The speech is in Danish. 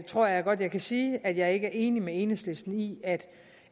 tror jeg godt jeg kan sige at jeg ikke er enig med enhedslisten i